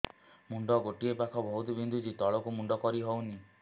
ମୁଣ୍ଡ ଗୋଟିଏ ପାଖ ବହୁତୁ ବିନ୍ଧୁଛି ତଳକୁ ମୁଣ୍ଡ କରି ହଉନି